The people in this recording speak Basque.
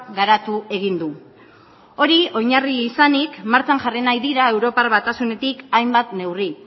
garatu egin du hori oinarri izanik martxan jarri nahi dira europar batasunetik hainbat neurri